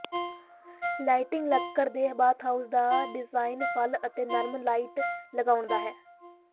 lighting ਲੱਕੜ ਦੇ bathhouse ਦਾ ਡਿਜ਼ਾਈਨ ਫੁੱਲ ਅਤੇ ਨਰਮ ਲਾਈਟ ਲਗਾਉਂਦਾ ਹੈ